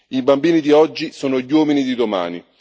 I bambini di oggi sono gli uomini di domani.